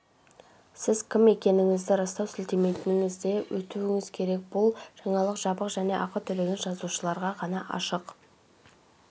сіз кім екендігіңізді растау сілтемесіне өтуіңіз керек бұл жаңалық жабық және ақы төлеген жазылушыларға ғана ашық